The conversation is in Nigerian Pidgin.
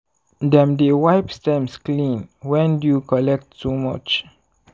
dem dey wipe stems clean when dew collect too much.